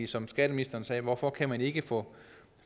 som skatteministeren sagde hvorfor kan man ikke få